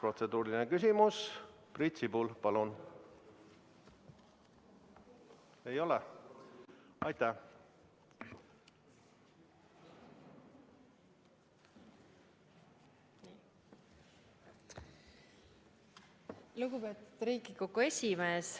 Lugupeetud Riigikogu esimees!